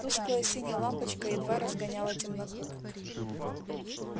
тусклая синяя лампочка едва разгоняла темноту